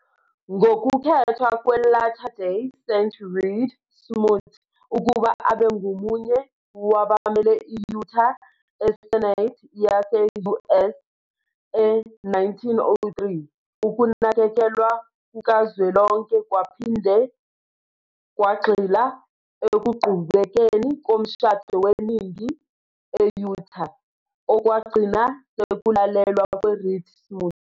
Ngokukhethwa kwe-Latter-day Saint Reed Smoot ukuba abe ngomunye wabamele i-Utah eSenate yase -US e-1903, ukunakekelwa kukazwelonke kwaphinde kwagxila ekuqhubekeni komshado weningi e-Utah, okwagcina sekulalelwa kweReed Smoot.